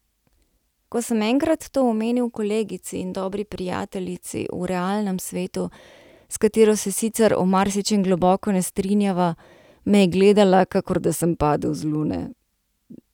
Ko sem enkrat to omenil kolegici in dobri prijateljici v realnem svetu, s katero se sicer o marsičem globoko ne strinjava, me je gledala, kakor da sem padel z lune.